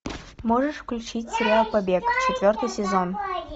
можешь включить сериал побег четвертый сезон